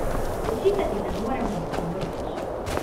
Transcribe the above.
Očitati ne moremo nikomur nič.